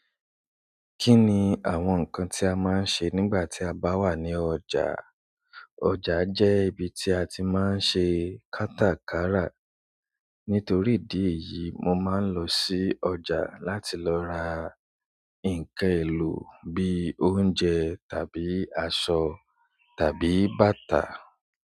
Kí ni àwọn nǹkan tí a máa ń ṣe nígbà tí a bá wà ní ọjà? Ọjà jẹ́ ibi tí a ti máa ń ṣe kátakara. Nítorí ìdí èyí, mo máa ń lọ sí ọjà láti lọ ra ǹkan èlò bí i òunje tàbí aṣọ tàbí bàtà.